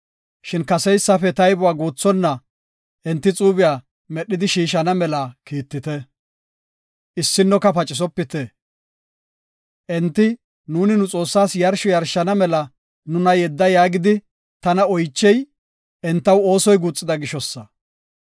Shin kaseysafe taybuwa guuthonna enti xuube medhidi shiishana mela kiittite; issinnoka pacisopite. Enti, ‘Nuuni nu Xoossaas yarshsho yarshana mela nuna yedda’ yaagidi tana oychey entaw oosoy guuxida gishosa.